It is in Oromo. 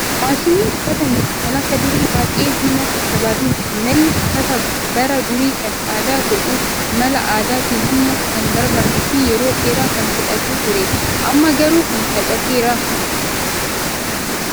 Maashinni uffata miiccu kan akka durii baay'ee humna barbaadu miti. Malli uffata bara durii kan adda godhu mala aadaatiin humna kan barbaaduu fi yeroo dheeraa kan fudhatu ture. Amma garuu kun salphateera.